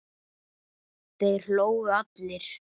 Þeir hlógu allir.